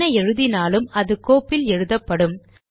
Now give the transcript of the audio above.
என்ன எழுதினாலும் அது கோப்பில் எழுதப்படும்